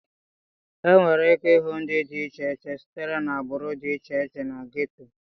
Enwere ike ịhụ ndị dị iche iche sitere na agbụrụ dị iche iche na gétò